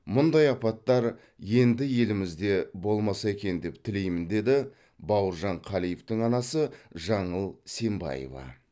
мұндай апаттар енді елімізде болмаса екен деп тілеймін деді бауыржан қалиевтің анасы жаңыл сембаева